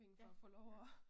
Ja, ja, ja